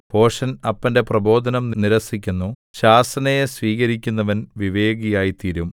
ഭോഷൻ അപ്പന്റെ പ്രബോധനം നിരസിക്കുന്നു ശാസനയെ സ്വീകരിക്കുന്നവൻ വിവേകിയായിത്തീരും